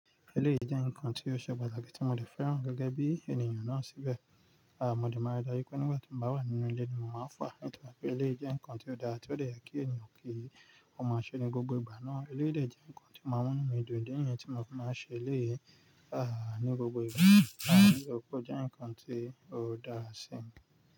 Eléyìí jẹ́ nǹkan tí ó ṣe pàtàkì tí mo de fẹ́ràn gẹ́gẹ́ bí ènìyàn náà síbẹ̀. À mo de máa rí i dájú pé nigba tí n bá wà nínú ilé ni mo máa fa nitori pé eléyìí jẹ́ nǹkan tí ó dáa tí ó de ye kí ènìyàn ò kí ó máa ṣe ni gbogbo ìgbà náà. Eléyìí de je nǹkan tí o maa mu inu mi dun idi niyẹn tí mo fi máa ṣe eléyìí, à ní gbogbo ìgbà. Àbí òpó jẹ́ nǹkan tí ó dáa sí mi.